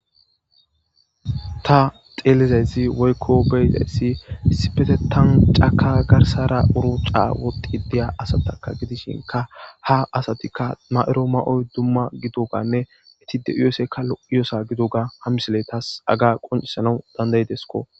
Ta xeelizayzi woykko beyxayssi sipetetan caka garsara uru ca woddi diya asataka gidishinka ha asatikka ma'ero ma7oy dumma gidoganne itide uesekka lo'iyosa gidoga ha misile taas aga qoncisana dandaydesko.